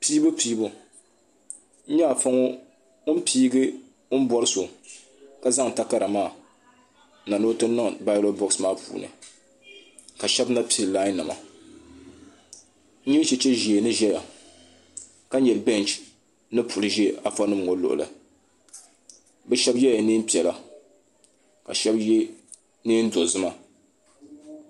piibu piibu n nyɛ afa ŋɔ o ni piigi o bɔri so ka zaŋ takara ni o ti ni baalot boksi maa puuni ka shab na piɛ lai nima n nyɛ chɛchɛ ʒiɛ ni ʒɛya ka nyɛ bɛnch ni puli ʒɛ afa nim ŋɔ luɣuli bi shab yɛla neen piɛla ka shab yɛ neen dozima